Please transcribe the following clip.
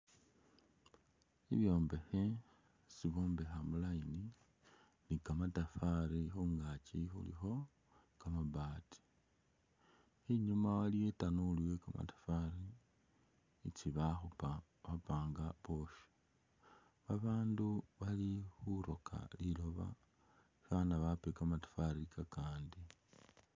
Ibwombekhe isi bombekha mu line ni kamatafali khungakyi khulikho kamabati enyuma waliyo itanulu ye kamatafali isi bakhupa bapanga bwosha , babandu bali khuroka liloba fwana bape kamatafwali kakandi.